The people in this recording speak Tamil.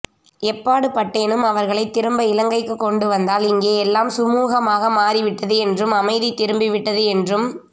எப்பாடு பட்டேனும் அவர்களை திரும்ப இலங்கைக்கு கொண்டு வந்தால் இங்கே எல்லாம் சுமுகமாக மாறிவிட்டது என்றும் அமைதி திரும்பிவிட்டது என்றும்